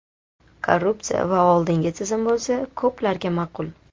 Korrupsiya va oldingi tizim bo‘lsa, ko‘plarga ma’qul.